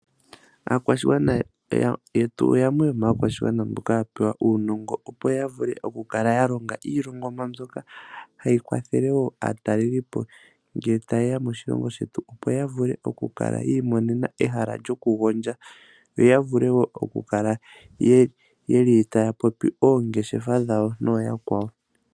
Aakwashigwana yetu yamwe yomaakwashigwana mboka yapewa uunongo opo yavule okukala ya longa iilongomwa mbyoka hayi kwathelo woo aatalelipo ngele tayeya moshilongo shetu opo yavule okukala yi imonena ehala lyoku gondja , yo yavule woo okukala yeli taya popi oongeshefa dhawo nooyakwawo.